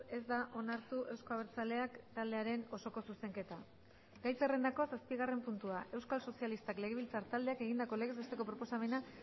ez da onartu euzko abertzaleak taldearen osoko zuzenketa gai zerrendako zazpigarren puntua euskal sozialistak legebiltzar taldeak egindako legez besteko proposamena